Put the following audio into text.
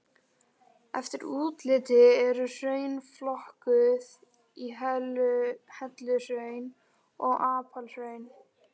Eftir útliti eru hraun flokkuð í helluhraun og apalhraun.